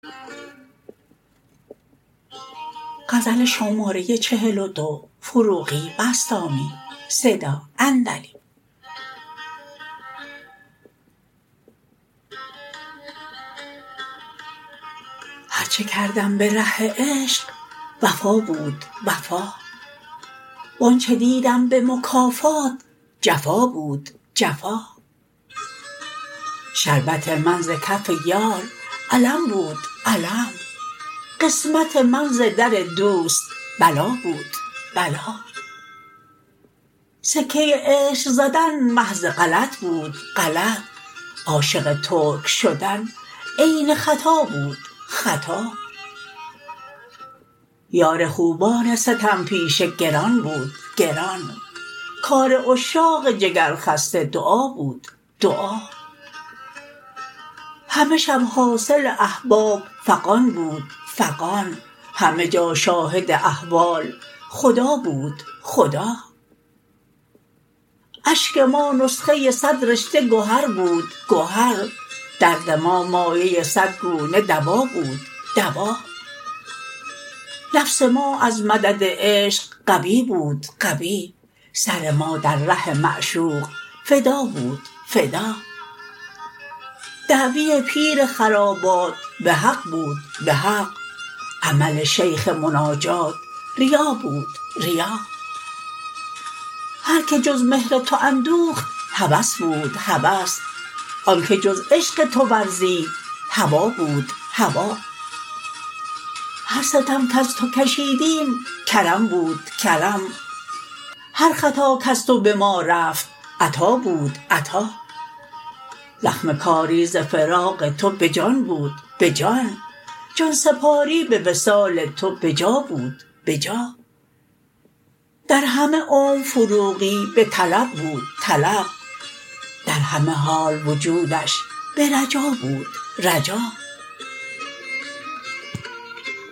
هر چه کردم به ره عشق وفا بود وفا وانچه دیدم به مکافات جفا بود جفا شربت من ز کف یار الم بود الم قسمت من ز در دوست بلا بود بلا سکه عشق زدن محض غلط بود غلط عاشق ترک شدن عین خطا بود خطا بار خوبان ستم پیشه گران بود گران کار عشاق جگر خسته دعا بود دعا همه شب حاصل احباب فغان بود فغان همه جا شاهد احوال خدا بود خدا اشک ما نسخه صد رشته گهر بود گهر درد ما مایه صد گونه دوا بود دوا نفس ما از مدد عشق قوی بود قوی سر ما در ره معشوق فدا بود فدا دعوی پیر خرابات به حق بود به حق عمل شیخ مناجات ریا بود ریا هر که جز مهر تو اندوخت هوس بود هوس آن که جز عشق تو ورزید هوا بود هوا هر ستم کز تو کشیدیم کرم بودکرم هر خطا کز تو به ما رفت عطا بود عطا زخم کاری زفراق تو به جان بود به جان جان سپاری به وصال تو به جا بود بجا در همه عمر فروغی به طلب بود طلب در همه حال وجودش به رجا بود رجا